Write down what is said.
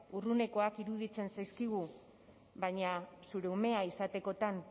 urrunekoak iruditzen zaizkigu baina zure umea izatekotan